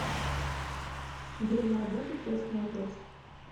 время работы крестный отец